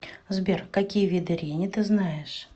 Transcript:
сбер какие виды рени ты знаешь